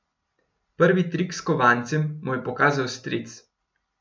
Prvi trik s kovancem mu je pokazal stric.